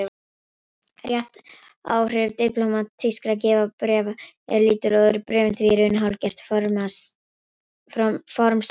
Réttaráhrif diplómatískra vegabréfa eru lítil og eru bréfin því í raun hálfgert formsatriði.